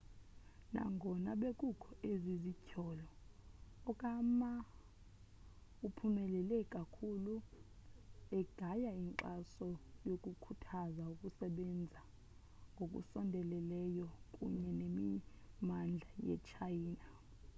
nangona bekukho ezi zityholo okama uphumelele kakhulu egaya inkxaso ngokukhuthaza ukusebenza ngokusondeleyo kunye nemimandla yetshayina